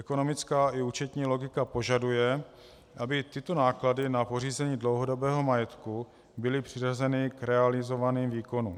Ekonomická i účetní logika požaduje, aby tyto náklady na pořízení dlouhodobého majetku byly přiřazeny k realizovaným výkonům.